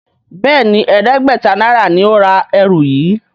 Béèni ẹdẹgbẹta náírà ní o rà ẹrù yí.